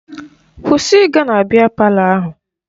Kwụsị ịga na biya palọ ahụ!